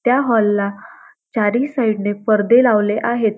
त्या हॉल ला चारही साइड ने परदे लावले आहेत.